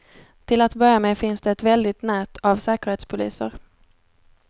Till att börja med finns det ett väldigt nät av säkerhetspoliser.